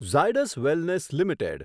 Zydus wellness limited